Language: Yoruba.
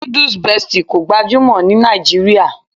Nudus Bestie kò gbajúmọ̀ ní Nàìjíríà